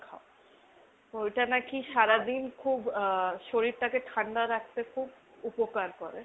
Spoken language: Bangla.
ঐটা নাকি খুব আহ শরীরটাকে ঠান্ডা রাখতে খুব উপকার করে।